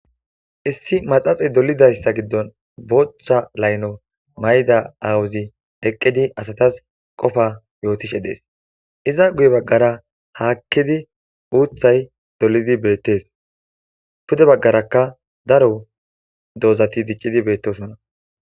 issi maxaxey dolidayssa giddon bochcha layno mayda awuzi eqqidi asatas qofa yootishe dees iza guye baggara haakkidi uuthay dolidi beettees pude baggaraka daro doozati diccidi beettosona